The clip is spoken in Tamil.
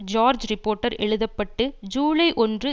ஜோர்ஜ் ரிப்போர்ட்டர் எழுத பட்டு ஜூலை ஒன்று